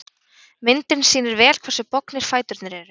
Myndin sýnir vel hversu bognir fæturnir eru.